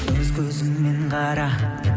өз көзіңмен қара